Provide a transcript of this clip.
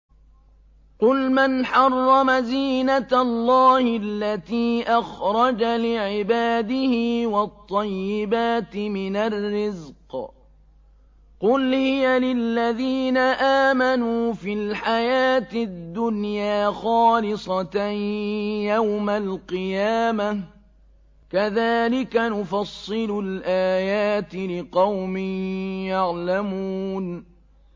قُلْ مَنْ حَرَّمَ زِينَةَ اللَّهِ الَّتِي أَخْرَجَ لِعِبَادِهِ وَالطَّيِّبَاتِ مِنَ الرِّزْقِ ۚ قُلْ هِيَ لِلَّذِينَ آمَنُوا فِي الْحَيَاةِ الدُّنْيَا خَالِصَةً يَوْمَ الْقِيَامَةِ ۗ كَذَٰلِكَ نُفَصِّلُ الْآيَاتِ لِقَوْمٍ يَعْلَمُونَ